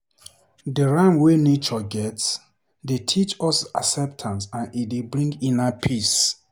Dey rhythm wey nature get dey teach us acceptance and e dey bring inner peace.